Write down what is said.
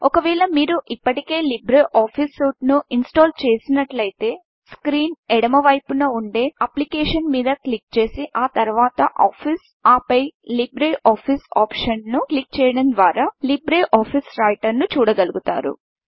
ఒకవేళ మీరు ఇప్పటికే లీబ్రే ఆఫీస్ సూట్ను ఇన్ స్టల్ చేసినట్లయితే స్క్రీన్ ఎడమ వైపు పైన ఉండే Applicationsఅప్లికేషన్ మీద క్లిక్ చేసి ఆ తరువాత Officeఆఫీస్ ఆపై లీబ్రే ఆఫీస్ ఆప్షన్ను క్లిక్ చేయడం ద్వారా లిబ్రిఆఫిస్ Writerలీబ్రే ఆఫీస్ రైటర్ను చూడగలుగుతారు